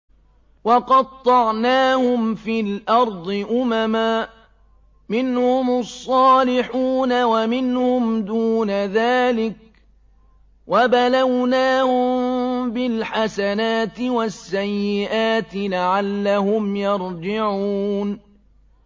وَقَطَّعْنَاهُمْ فِي الْأَرْضِ أُمَمًا ۖ مِّنْهُمُ الصَّالِحُونَ وَمِنْهُمْ دُونَ ذَٰلِكَ ۖ وَبَلَوْنَاهُم بِالْحَسَنَاتِ وَالسَّيِّئَاتِ لَعَلَّهُمْ يَرْجِعُونَ